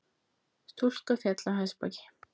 Stúlka féll af hestbaki